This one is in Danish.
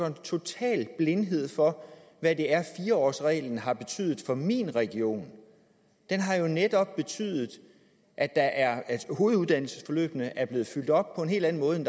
en total blindhed over for hvad det er fire årsreglen har betydet for min region den har jo netop betydet at at hoveduddannelsesforløbene er blevet fyldt op på en hel anden måde end